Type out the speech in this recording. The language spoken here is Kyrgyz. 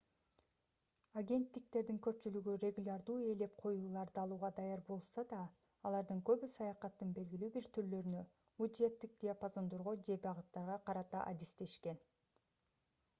агенттиктердин көпчүлүгү регулярдуу ээлеп коюуларды алууга даяр болушса да алардын көбү саякаттын белгилүү бир түрлөрүнө бюджеттик диапазондорго же багыттарга карата адистешкен